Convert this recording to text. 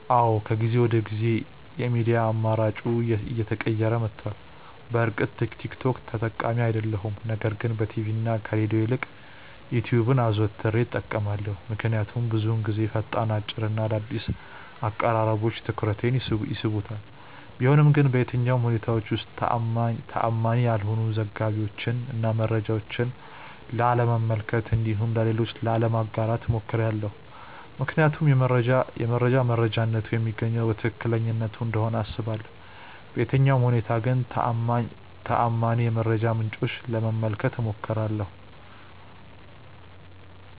አዎ ከጊዜ ወደ ጊዜ የሚዲያ አማራጬ እየተቀየረ መቷል። በእርግጥ ቲክ ቶክ ተጠቃሚ አይደለሁም ነገር ግን በቲቪ እና ከሬድዮ ይልቅ ዩትዩብን አዘውትሬ እጠቀማለሁ። ምክንያቱም ብዙውን ጊዜ ፈጣን፣ አጭር እና አዳዲስ አቀራረቦች ትኩረቴን ይስቡታል። ቢሆንም ግን በየትኛውም ሁኔታዎች ውስጥ ተአማኒ ያልሆኑ ዘገባዎችን እና መረጃዎችን ላለመመልከት እንዲሁም ለሌሎች ላለማጋራት እሞክራለሁ። ምክንያቱም የመረጃ መረጃነቱ የሚገኘው ከትክክለኛነቱ እንደሆነ አስባለሁ። በየትኛውም ሁኔታ ግን ተአማኒ የመረጃ ምንጮችን ለመመልከት እሞክራለሁ።